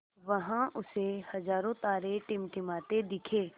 वहाँ उसे हज़ारों तारे टिमटिमाते दिखे